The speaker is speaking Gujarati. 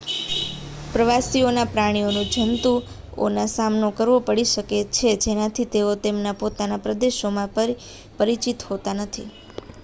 પ્રવાસીઓને પ્રાણીઓના જંતુઓનો સામનો કરવો પડી શકે છે જેનાથી તેઓ તેમના પોતાના પ્રદેશોમાં પરિચિત હોતા નથી